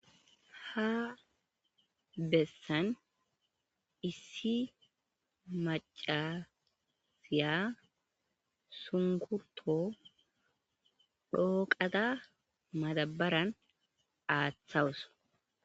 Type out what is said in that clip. Ha bessani issi macasiya shunkuruto dhoqada madabarani athawus